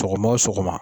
Sɔgɔma o sɔgɔma